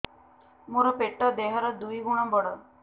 ମୋର ପେଟ ଦେହ ର ଦୁଇ ଗୁଣ ବଡ